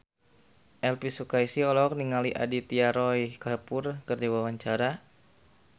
Elvy Sukaesih olohok ningali Aditya Roy Kapoor keur diwawancara